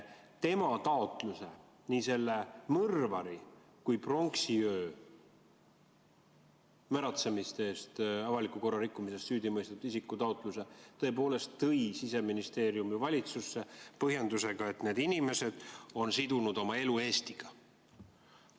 Tema taotluse, selle mõrvari oma, aga ka pronksiööl märatsemise ehk avaliku korra rikkumise eest süüdi mõistetud isiku taotluse tõi Siseministeerium tõepoolest valitsusse põhjendusega, et need inimesed on sidunud oma elu Eestiga.